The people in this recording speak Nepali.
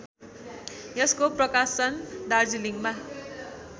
यसको प्रकाशन दार्जिलिङमा